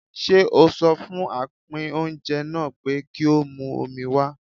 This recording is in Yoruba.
Ṣé o sọ fún apín oúnjẹ náà pé kí ó mú omi wá?